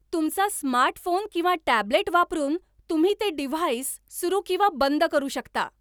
तुमचा स्मार्टफोन किंवा टॅबलेट वापरून तुम्ही ते डिव्हाईस सुरु किंवा बंद करू सकता.